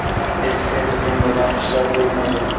Eski tizim bilan ishlab bo‘lmaydi.